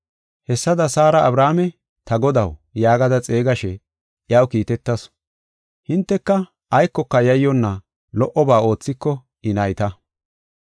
Hessada Saara Abrahaame, “Ta godaw” yaagada xeegashe, iyaw kiitetasu; hinteka aykoka yayyonna lo77oba oothiko I nayta.